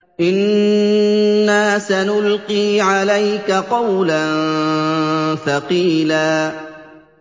إِنَّا سَنُلْقِي عَلَيْكَ قَوْلًا ثَقِيلًا